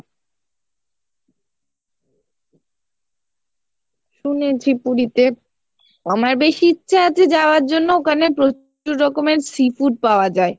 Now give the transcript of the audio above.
শুনেছি পুরীতে আমার বেশি ইচ্ছা আছে যাওয়ার জন্য ওখানে প্রচুর রকমের see food পাওয়া যায়।